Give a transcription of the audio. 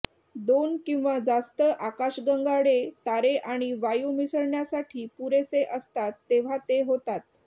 दोन किंवा जास्त आकाशगंगाळे तारे आणि वायू मिसळण्यासाठी पुरेसे असतात तेव्हा ते होतात